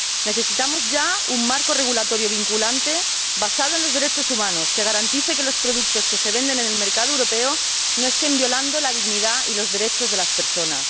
Necesitamos, ya, un marco regulatorio vinculante basado en los derechos humanos que garantice que los productos que se venden en el mercado europeo no estén violando la dignidad y los derechos de las personas.